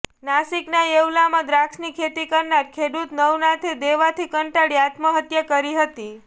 નાશિકના યેવલામાં દ્રાક્ષની ખેતી કરનારા ખેડૂત નવનાથે દેવાથી કંટાળી આત્મહત્યા કરી હતી